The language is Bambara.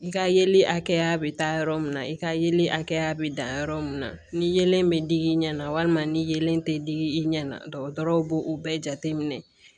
I ka yeli hakɛya bɛ taa yɔrɔ min na i ka yelen hakɛya bɛ dan yɔrɔ min na ni yelen bɛ digi i ɲɛ na walima ni yelen tɛ digi i ɲɛ na dɔgɔtɔrɔw b'o o bɛɛ jateminɛ